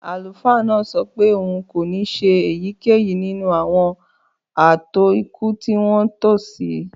Àlùfáà náà sọ pé òun kò ní ṣe èyíkéyìí nínú àwọn ààtò ikú tí wọ́n tò sí.